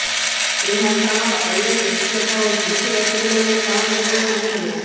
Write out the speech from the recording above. ଏହା ସହ ଅନ୍ୟ ଶିକ୍ଷକ ଓ ଶିକ୍ଷୟତ୍ରୀମାନେ ସହଯୋଗ କରିଥିଲେ